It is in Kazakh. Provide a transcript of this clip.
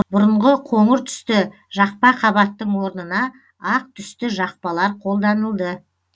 бұрынғы қоңыр түсті жақпа қабаттың орнына ақ түсті жақпалар қолданылды